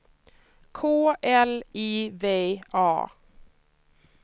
K L I V A